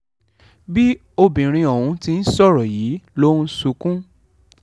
bí obìnrin ọ̀hún ti ń sọ̀rọ̀ yìí ló ń sunkún